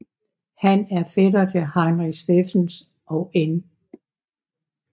Han er fætter til Heinrich Steffens og N